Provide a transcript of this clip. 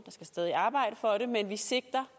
skal stadig arbejdes for det men vi sigter